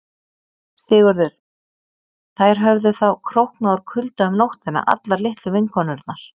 SIGURÐUR: Þær höfðu þá króknað úr kulda um nóttina allar litlu vinkonurnar.